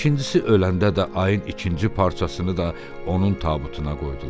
İkincisi öləndə də ayın ikinci parçasını da onun tabutuna qoydular.